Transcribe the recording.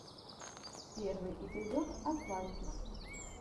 первый эпизод атлантис